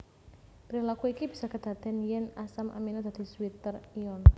Prilaku iki bisa kedadèn yèn asam amino dadi zwitter ion